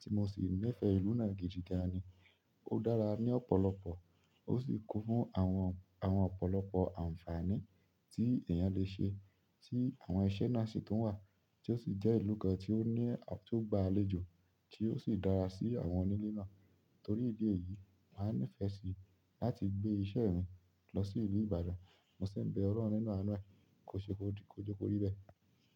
tí mo sì nífẹ̀ẹ́ ìlú náà gidi gan ni. O dára ni ọ̀pọ̀lọpọ̀, o si kun fún àwọn àwọn ọ̀pọ̀lọpọ̀ àǹfààní ti eeyan le se, ti àwọn iṣẹ́ náà si tun wa. Ti o si je ìlú kan ti o ni, ti o gba àwọn àlejò, ti o si dára si àwọn onile náà. Torí ìdí èyí, màá nífẹ̀ẹ́ sí láti gbé iṣẹ́ mi lọ sí ìlú Ìbàdàn. Mo sì ń be Olọ́run nínú àánú ẹ, kó ṣe good, kó je kò rí bẹ́ẹ̀.